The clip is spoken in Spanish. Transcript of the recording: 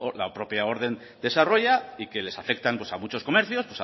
la propia orden desarrolla y que les afectan a muchos comercios